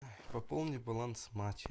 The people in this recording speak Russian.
пополни баланс мать